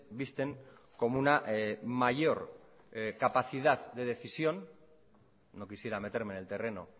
visten como una mayor capacidad de decisión no quisiera meterme en el terreno